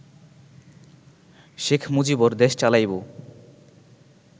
শেখ মুজিবর দেশ চালাইব